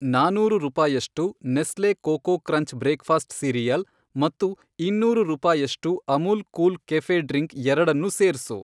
ನಾನೂರು ರೂಪಾಯಷ್ಟು Nestle Koko Krunch breakfast cereal ಮತ್ತು ಇನ್ನೂರು ರೂಪಾಯಷ್ಟು ಅಮುಲ್ ಕೂಲ್ ಕೆಫೆ಼ ಡ್ರಿಂಕ್ ಎರಡನ್ನೂ ಸೇರ್ಸು.